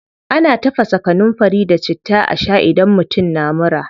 Ana tafasa kanunfari da citta a shaa idan mutum na mura.